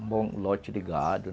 Um bom lote de gado.